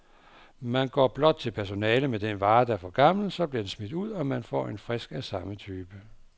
Man går blot til personalet med den vare, der er for gammel, så bliver den smidt ud, og man får en frisk af samme type.